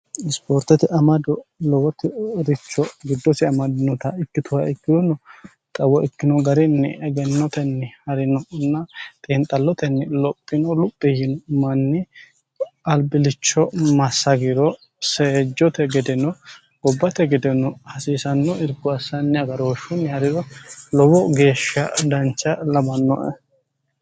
isipoortete amado lowoti richo giddosi amadinota ikkituha ikkirono xawo ikkino garinni egennotenni harinonna xiinxallotenni lophino luphi yino manni albilicho massagiro seejjote gedeno gobbate gedeno hasiisanno irkko assanni agarooshshunni hariro lowo geeshsha dancha lawannoe